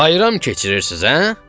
Bayram keçirirsiz hə?